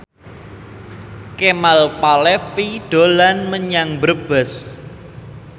Kemal Palevi dolan menyang Brebes